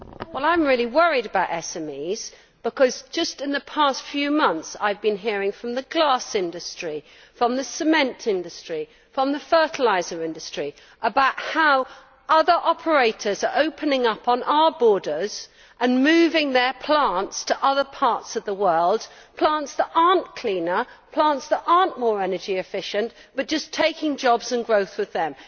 I am really worried about SMEs, because just in the past few months I have been hearing from the glass industry, from the cement industry and from the fertiliser industry about how other operators are opening up on our borders and moving their plants to other parts of the world plants that are not cleaner, plants that are not more energy efficient, but which are just taking jobs and growth with them.